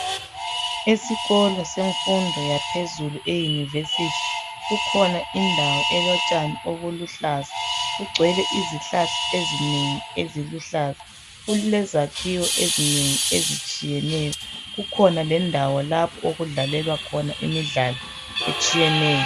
esikolo semfundo yaphezulu e university kukhona indawo elotshani obuluhlaza kugcwele izihlahla ezinengi eziluhlaza kulezakhiwo ezinengi ezitshiyeneyo kukhona lendawo lapho okudlalelwa khona imidlalo etshiyeneyo